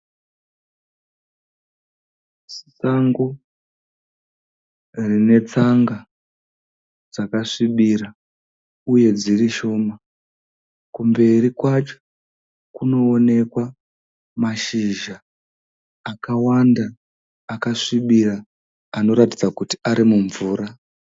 Sango rine tsanga dzakasvibira uye dziri shoma, kumberi kwacho kunoonekwa mashizha akawanda akasvibira anoratidza kuti ari mumvura.